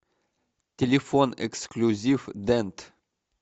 телефон эксклюзив дент